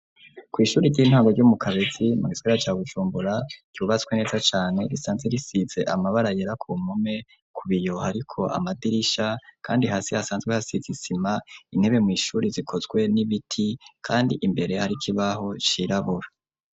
Kw'ishuri ry'intango, ryo mu Kabezi, mu gisagara ca Bujumbura, ryubatswe neza cane, risanzwe risize, amabara yera, ku mpome; ku biyo hariko amadirisha, kandi hasi hasanzwe hasize isima; intebe mw'ishuri, zikozwe n'ibiti, kandi imbere hari, ikibaho cirabura.